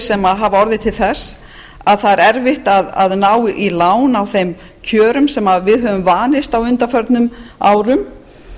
sem hafa orðið til þess að það er erfitt að ná í lán á þeim kjörum sem við höfum vanist á undanförnum árum